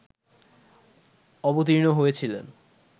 অবতীর্ণ হয়েছিলেন